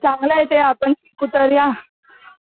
चांगल आहे ते आपण शिकू तरया